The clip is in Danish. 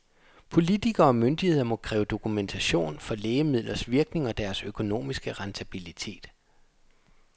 Politikere og myndigheder må kræve dokumentation for lægemidlers virkning og deres økonomiske rentabilitet.